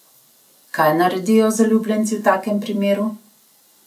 Kaj naredijo zaljubljenci v takem primeru?